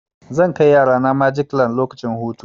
Zan kai yarana magic land lokacin hutu.